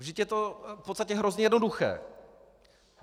Vždyť je to v podstatě hrozně jednoduché.